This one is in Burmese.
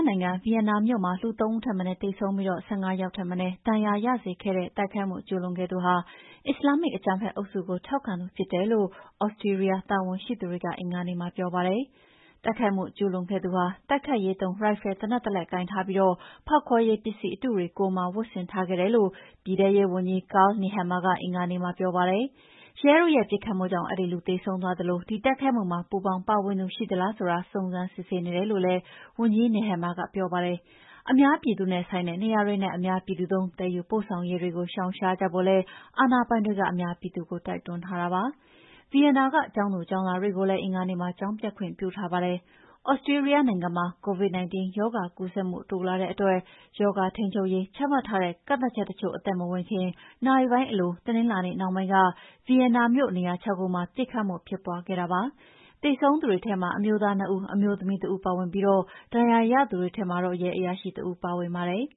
နိုင်ငံ၊ ဗီယင်နာမြို့မှာ လူ ၃ ဦးထက်မနည်းသေဆုံးပြီး ၁၅ ယောက်ထက်မနည်း ဒဏ်ရာရစေခဲ့တဲ့ တိုက်ခိုက်မှု ကျူးလွန်ခဲ့သူဟာ အစ္စလာမ်မစ် အကြမ်းဖက်အုပ်စုကို ထောက်ခံသူဖြစ်တယ်လို့ Austria တာဝန်ရှိသူတွေက အင်္ဂါနေ့မှာပြောပါတယ်။ တိုက်ခိုက်မှုကျူးလွန်ခဲ့သူဟာ တိုက်ခိုက်ရေးသုံး ရိုင်ဖယ်သေနတ်တလက်ကိုင်ထားပြီး ဖောက်ခွဲရေးပစ္စည်းအတုတွေ ကိုယ်မှာဝတ်ဆင်ထားခဲ့တယ်လို့ ပြည်ထဲရေးဝန်ကြီး Karl Nehammer က အင်္ဂါနေ့မှာ ပြောပါတယ်။ ရဲတို့ရဲ့ပစ်ခတ်မှုကြောင့် အဲဒီလူသေဆုံးသွားသလို ဒီတိုက်ခိုက်မှုမှာ ပူးပေါင်းပါဝင်သူ ရှိသလားဆိုတာ စုံစမ်းစစ်ဆေးနေတယ်လို့လည်းဝန်ကြီး Nehammer ကပြောပါတယ်။ အများပြည်သူနဲ့ဆိုင်တဲ့နေရာတွေနဲ့ အများပြည်သူသုံး သယ်ယူပို့ဆောင်ရေးကို ရှောင်ကြဖို့လည်း အာဏာပိုင်တွေက အများပြည်သူကို တိုက်တွန်းထားပါတယ်။ ဗီယင်နာကကျောင်းသူကျောင်းသားတွေကိုလည်း အင်္ဂါနေ့မှာ ကျောင်းပျက်ခွင့်ပြုထားပါတယ်။ Austria နိုင်ငံမှာ COVID-19 ရောဂါကူးစက်မှု တိုးလာတဲ့အတွက် ရောဂါထိန်းချုပ်ရေး ချမှတ်ထားတဲ့ ကန့်သတ်ချက်တချို့အသက်မဝင်ခင် နာရီပိုင်းအလို တနင်္လာနေ့နှောင်းပိုင်းက ဗီယင်နာမြို့ နေရာ ၆ ခုမှာ သေဆုံးသူတွေထဲမှာ အမျိုးသား နှစ် ဦး၊ အမျိုးသမီး တစ် ဦးပါဝင်ပြီး ဒဏ်ရာရသူတွေထဲမှာ ရဲအရာရှိတဦးလည်း ပါဝင်ပါတယ်။